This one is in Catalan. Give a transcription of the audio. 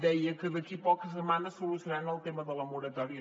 deia que d’aquí a poques setmanes solucionaran el tema de la moratòria